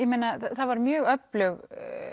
var mjög öflug